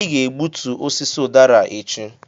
ị ga-egbutu osisi ụdara a echi!